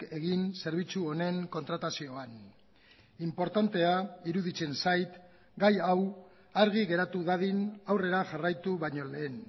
egin zerbitzu honen kontratazioan inportantea iruditzen zait gai hau argi geratu dadin aurrera jarraitu baino lehen